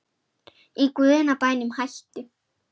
Í guðanna bænum hættu